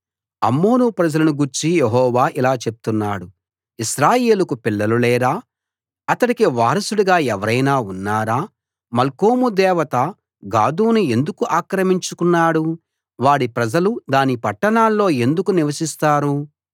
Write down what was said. అమ్మోను ప్రజలను గూర్చి యెహోవా ఇలా చెప్తున్నాడు ఇశ్రాయేలుకు పిల్లలు లేరా అతడికి వారసుడుగా ఎవరైనా ఉన్నారా మల్కోము దేవత గాదును ఎందుకు ఆక్రమించుకున్నాడు వాడి ప్రజలు దాని పట్టణాల్లో ఎందుకు నివసిస్తారు